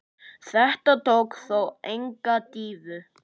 Þetta tók þó enga dýfu.